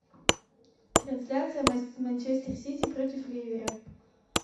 трансляция манчестер сити против ливера